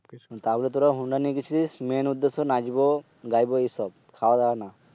তাহলে তুরা হুন্ডা নিয়ে গেছিলি Main নাচব, গাইব এসব খাওয়া দাওয়া নয়।